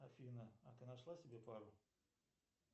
афина а ты нашла себе пару